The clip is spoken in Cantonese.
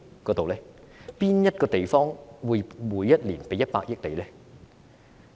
甚麼地方會每年給你100億元？